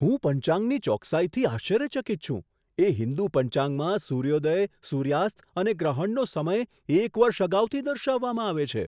હું પંચાંગની ચોકસાઈથી આશ્ચર્યચકિત છું, એ હિન્દુ પંચાંગમાં સૂર્યોદય, સૂર્યાસ્ત અને ગ્રહણનો સમય એક વર્ષ અગાઉથી દર્શાવવામાં આવે છે.